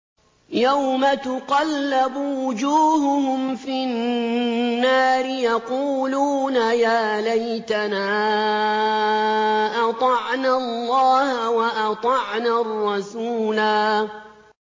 يَوْمَ تُقَلَّبُ وُجُوهُهُمْ فِي النَّارِ يَقُولُونَ يَا لَيْتَنَا أَطَعْنَا اللَّهَ وَأَطَعْنَا الرَّسُولَا